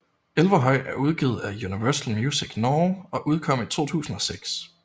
Elverhøy er udgivet af Universal Music Norge og udkom i 2006